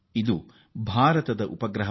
ಇದು ಭಾರತದ ಉಪಗ್ರಹ